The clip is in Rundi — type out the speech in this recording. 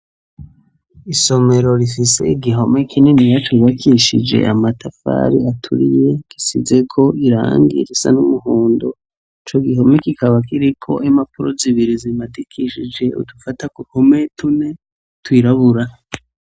Isomero rifise igihome kininiya cubakishije amatafari aturiye, gisizeko irangi risa n'umuhondo. Ico gihome kikaba kiriko impapuro zibiri zimadikishije udufata ku mpome tune twirabura.